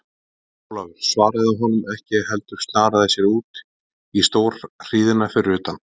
Jón Ólafur svaraði honum ekki heldur snaraði sér út í stórhríðina fyrir utan.